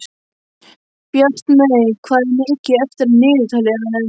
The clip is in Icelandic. Bjartmey, hvað er mikið eftir af niðurteljaranum?